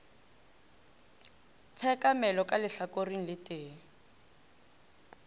tshekamelo ka lehlakoreng le tee